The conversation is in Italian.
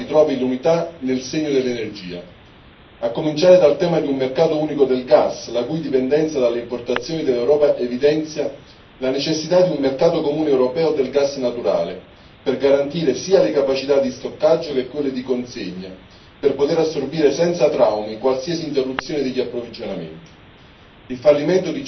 È fondamentale che l'Europa ritrovi l'unità nel segno dell'energia, a cominciare dal tema di un mercato unico del gas la dipendenza dalle importazioni dell'Europa evidenzia la necessità di un mercato comune europeo del gas naturale per garantire sia le capacità di stoccaggio che quelle di consegna, per poter assorbire senza traumi qualsiasi interruzione degli approvvigionamenti.